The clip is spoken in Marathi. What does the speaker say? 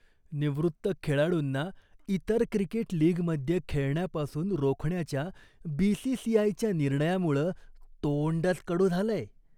निवृत्त खेळाडूंना इतर क्रिकेट लीगमध्ये खेळण्यापासून रोखण्याच्या बी.सी.सी.आय.च्या निर्णयामुळं तोंडच कडू झालंय.